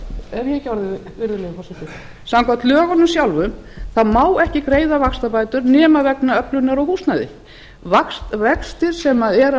ekki orðið virðulegi forseti samkvæmt lögunum sjálfum má ekki greiða vaxtabætur nema vegna öflunar á húsnæði vextir sem eru af